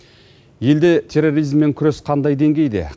елде терроризммен күрес қандай деңгейде